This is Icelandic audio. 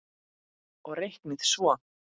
Og reiknið svo.